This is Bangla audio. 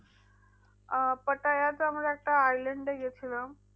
আহ পাটায়াতে আমরা একটা island এ গিয়েছিলাম।